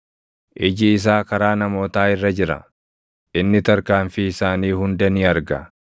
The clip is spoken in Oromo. “Iji isaa karaa namootaa irra jira; inni tarkaanfii isaanii hunda ni arga.